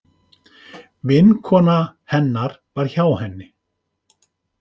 Vinkona hennar var hjá henni.